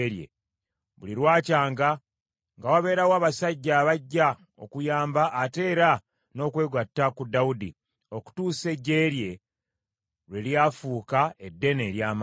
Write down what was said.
Buli lwakyanga nga wabeerawo abasajja abajja okuyamba ate era n’okwegatta ku Dawudi, okutuusa eggye lye bwe lyafuuka eddene, ery’amaanyi.